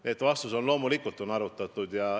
Nii et vastus on, et loomulikult on arutatud.